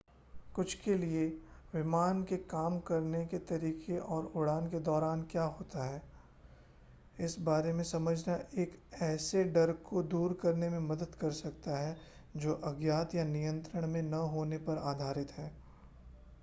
कुछ के लिए विमान के काम करने के तरीके और उड़ान के दौरान क्या होता है इस बारे में समझना एक ऐसे डर को दूर करने में मदद कर सकता है जो अज्ञात या नियंत्रण में न होने पर आधारित है